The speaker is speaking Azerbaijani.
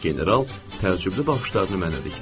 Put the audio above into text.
General təəccüblü baxışlarını mənə dikdi.